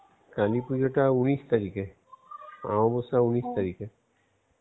কালিপুজোটা উনিশ তারিখে আমাবশ্যা উনিশ তারিখে.